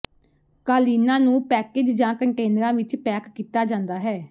ਕਾਲੀਨਾ ਨੂੰ ਪੈਕੇਜ ਜਾਂ ਕੰਟੇਨਰਾਂ ਵਿੱਚ ਪੈਕ ਕੀਤਾ ਜਾਂਦਾ ਹੈ